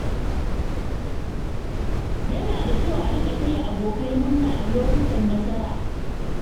Yana da kyau a riƙa taya abokai murna a lokutan nasara.